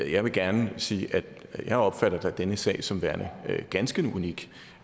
jeg vil gerne sige at jeg da opfatter denne sag som værende ganske unik